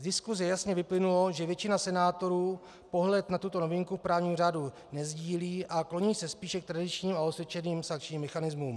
Z diskuse jasně vyplynulo, že většina senátorů pohled na tuto novinku v právním řádu nesdílí a kloní se spíše k tradičním a osvědčeným sankčním mechanismům.